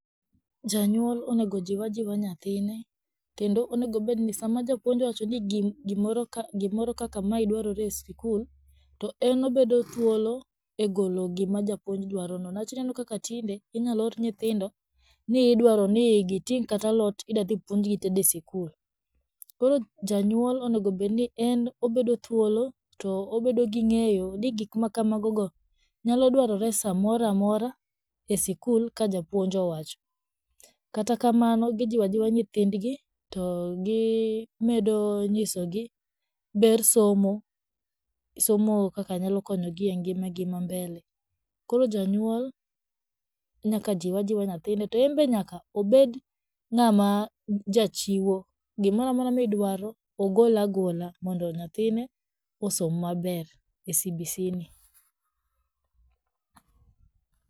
Janyuol onego ojiw ajiwa nyathine, kendo onego obedni sama japuonj owacho ni gimoro ka gimoro kaka ma dwarore e skul, to en obedo thuolo e golo gima japuonj dwarono, niwach ineno kaka tinde inyaloor nyithindo ni idwaroni giting' kata alot idadhipuonjgi itedo e sikul, koro janyuol onegobedni en obedo thuolo to obedo gi ng'eyo ni gikmakamagogo nyalodwarore samoraamora e sikul ka japuonj owacho, kata kamano gijiwo ajiwa nyithindgi to gimedo nyisogi ber somo somo kaka nyalo konyogi e ngimagi ma mbele, koro janyuol nyaka jiwajiwa nyathine, to enbe nyaka obed jachiwo , gimoramora midwaro ogolagola mondo nyathine osom maber e CBCni.